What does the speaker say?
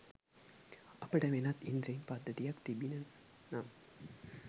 අපට වෙනත් ඉන්ද්‍රිය පද්ධතියක් තිබිණි නම්